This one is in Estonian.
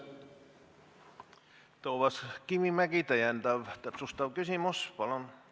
Toomas Kivimägi, täpsustav küsimus, palun!